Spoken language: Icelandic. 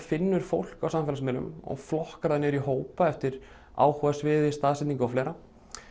finnur fólk á samfélagsmiðlum og flokkar það niður í hópa eftir áhugasviði staðsetningu og fleira